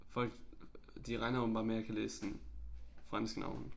Folk de regner åbenbart med jeg kan læse sådan franske navne